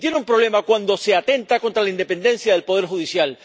Y tiene un problema cuando se atenta contra la independencia del poder judicial.